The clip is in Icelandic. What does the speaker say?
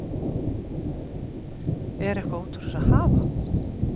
Er eitthvað út úr þessu að hafa?